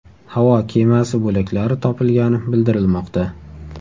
Havo kemasi bo‘laklari topilgani bildirilmoqda.